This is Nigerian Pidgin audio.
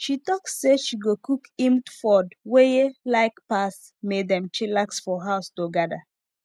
she talk say she go cook himd ffod weye like pass may dem chillax for house togada